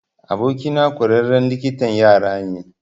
Abokina ƙwararren likitan yara ne.